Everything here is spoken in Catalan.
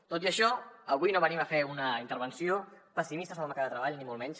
tot i això avui no venim a fer una intervenció pessimista sobre el mercat de treball ni molt menys